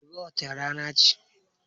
Gobe wane rana ce?